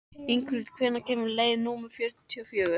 Inghildur, hvenær kemur leið númer fjörutíu og fjögur?